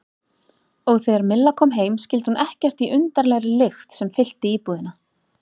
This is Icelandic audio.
Og þegar Milla kom heim skildi hún ekkert í undarlegri lykt sem fyllti íbúðina.